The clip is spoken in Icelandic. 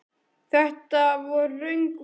Þetta voru röng viðbrögð.